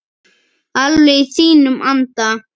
Alveg í þínum anda.